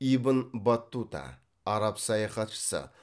ибн баттута араб саяхатшысы